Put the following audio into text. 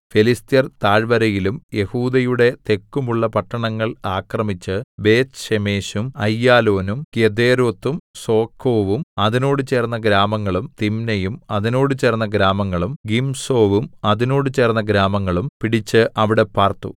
ഫെലിസ്ത്യർ താഴ്വരയിലും യെഹൂദയുടെ തെക്കും ഉള്ള പട്ടണങ്ങൾ ആക്രമിച്ച് ബേത്ത്ശേമെശും അയ്യാലോനും ഗെദേരോത്തും സോഖോവും അതിനോട് ചേർന്ന ഗ്രാമങ്ങളും തിമ്നയും അതിനോട് ചേർന്ന ഗ്രാമങ്ങളും ഗിംസോവും അതിനോട് ചേർന്ന ഗ്രാമങ്ങളും പിടിച്ച് അവിടെ പാർത്തു